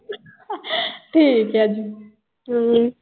ਠੀਕ ਆ ਜੀ।